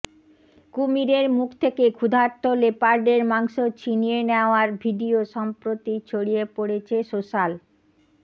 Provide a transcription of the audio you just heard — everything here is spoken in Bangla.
কুমিরের মুখ থেকে ক্ষুধার্ত লেপার্ডের মাংস ছিনিয়ে নেওয়ার ভিডিয়ো সম্প্রতি ছড়িয়ে পড়েছে সোশ্যাল